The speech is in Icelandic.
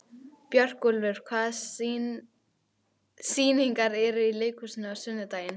Björgúlfur, hvaða sýningar eru í leikhúsinu á sunnudaginn?